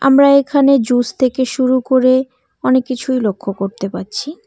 আমরা এখানে জুস থেকে শুরু করে অনেক কিছুই লক্ষ করতে পারছি।